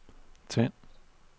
tænd